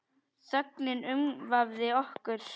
Þögnin umvafði okkur.